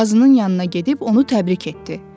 Qazının yanına gedib onu təbrik etdi.